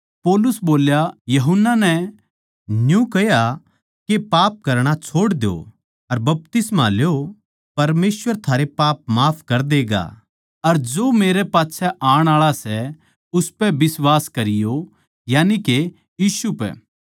पौलुस बोल्या यूहन्ना नै न्यू कह्या के पाप करणा छोड़ दो अर बपतिस्मा ल्यो परमेसवर थारे पाप माफ कर देगा अर जो मेरै पाच्छै आण आळा सै उसपै बिश्वास करयो यानिके यीशु पै